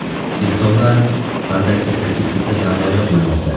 Simptomlar qanday ketma-ketlikda namoyon bo‘lmoqda?.